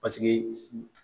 Paseke